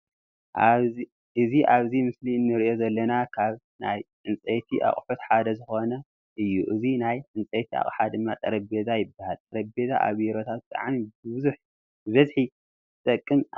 እዚ ኣብዚ ምስሊ እንርእዩ ዘለና ካብ ናይ ዕንፀይቲ ኣቁሕት ሓደ ዝኮነ እዩ። እዚ ናይ ዕንፀይቲ ኣቅሓ ድማ ጠረጵዛ ይባሃል። ጠረጵዛ ኣብ ቢሮታት ብጣዕሚ ብብዝሒ ዝጠቅም ኣቅሓ እዩ።